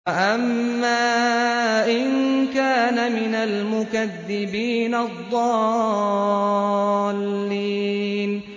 وَأَمَّا إِن كَانَ مِنَ الْمُكَذِّبِينَ الضَّالِّينَ